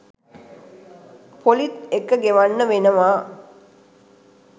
පොලිත් එක්ක ගෙවන්න වෙනවා